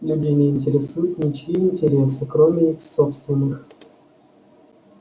людей не интересуют ничьи интересы кроме их собственных